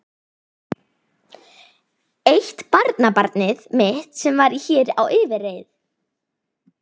Eitt barnabarnið mitt sem var hér á yfirreið.